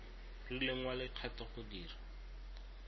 rileng wa lekgetho go dira